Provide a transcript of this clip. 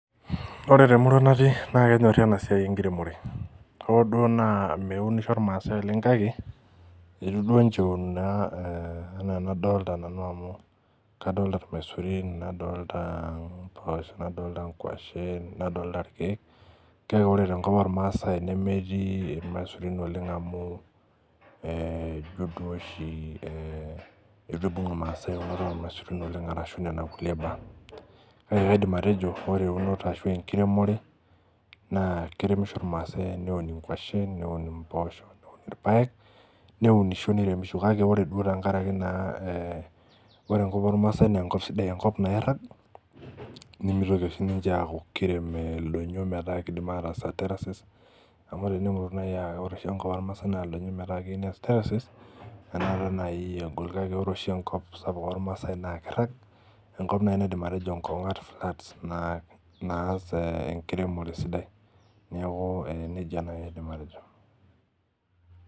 Ore temurua natii naa kenyorri ena siai enkiremore hoo duo naa meunisho irmaasae oleng kake etu duo inche eun naa eh enaa enadolta nanu amu kadolta irmaisurin nadolta impoosho nadolta inkuashen nadolta irkeek kake ore tenkop ormaasae nemetii irmaisurin oleng amu eh ijio duo oshi eh eitu ibung irmaasae eunoto ormaisurin arashu nena kulie baa kake kaidim atejo ore eunoto ashu enkiremore naa keremisho irmaasae eneun inkuashen neun impoosho neun irpayek neunisho niremisho kake ore duo tenkarake naa eh ore enkop ormaasae nenkop sidai enkop nairrag nimitoki oshi ninche aaku eh kirem ildonyio metaa kidim ataas eh terraces amu tenemutu naaji uh ore oshi enkop ormaasae naa ildonyio metaa keiu nees terraces enaata naai egol kake ore oshi enkop sapuk ormaasae naa kirrag enkop naai naidim atejo inkong'at flat naa naas enkiremore sidai niaku nejia naai aidim atejo.